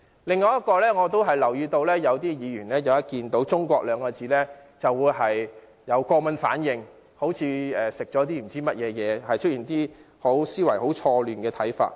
另外，我留意到有些議員一見"中國"二字，便會出現過敏反應，像吃了壞東西，又會出現一些思維錯亂的看法。